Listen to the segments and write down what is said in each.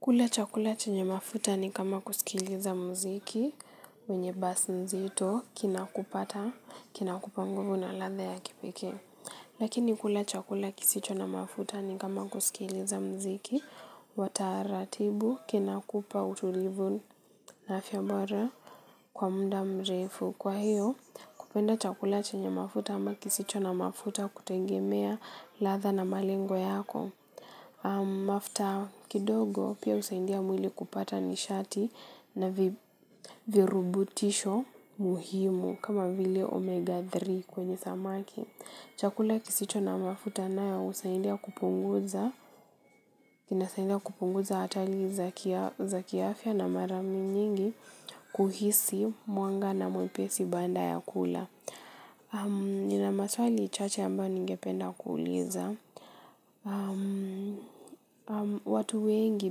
Kula chakula chenye mafuta ni kama kusikiliza mziki wenye basi nzito kina kupata kina kupa nguvu na ladha ya kipekee. Lakini kula chakula kisicho na mafuta ni kama kusikiliza mziki wataratibu kina kupa utulivu na afya bora kwa mda mrefu. Kwa hiyo kupenda chakula chenye mafuta ama kisicho na mafuta kutengemea ladha na malengo yako. Mafuta kidogo pia husaidia mwili kupata nishati na virubutisho muhimu kama vile omega tatu kwenye samaki. Chakula kisicho na mafuta nayo husahindia kupunguza. Kina saidia kupunguza hatari za kiafya na mara nyingi kuhisi mwanga na mwepesi baada ya kula. Nina maswali chache ambayo ningependa kuuliza. Watu wengi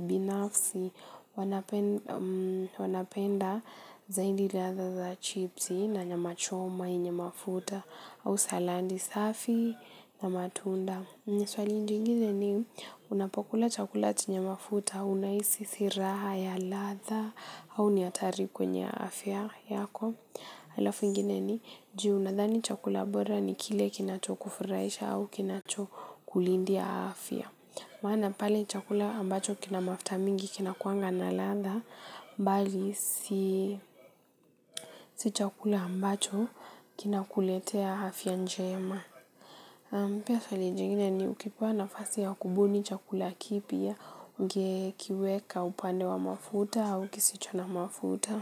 binafsi wanapenda zaidi ladha za chipsi na nyama choma yenye mafuta au saladi safi na matunda swali jingine ni unapokula chakula chenye mafuta unahisi si raha ya ladha au ni hatari kwenye afya yako halafu ingine ni juu unadhani chakula bora ni kile kinacho kufurahisha au kinacho kulindia afya. Maana pale chakula ambacho kina mafuta mingi kinakuanga na ladha, mbali si chakula ambacho kinakuletea afya njema pia swali jingine ni ukipewa nafasi ya kubuni chakula kipya, unge kiweka upande wa mafuta au kisicho na mafuta.